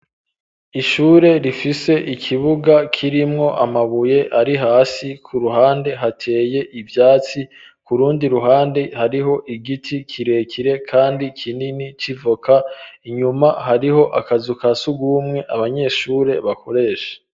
Ishure rifise ikibuga k'irimwo amabuye ari hasi ku ruhande hateye ivyatsi, kurundi ruhande hariho igiti kirekire kandi kinini civoka, inyuma hariho akazu kasugumwe abanyeshure bakoresha.